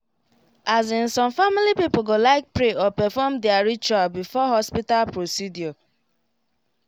as in some family people go like pray or perfom their ritual before hospital procedure